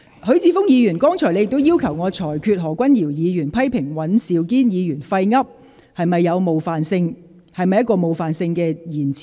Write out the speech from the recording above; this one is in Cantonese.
許智峯議員，剛才你要求我裁決何君堯議員批評尹兆堅議員"廢噏"是否屬冒犯性言詞。